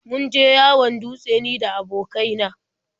Mun je hawan dutse ni da abokai na.